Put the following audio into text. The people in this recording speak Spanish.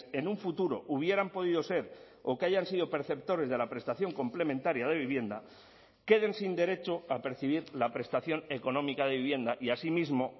en un futuro hubieran podido ser o que hayan sido perceptores de la prestación complementaria de vivienda queden sin derecho a percibir la prestación económica de vivienda y asimismo